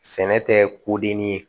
Sɛnɛ tɛ kodenni ye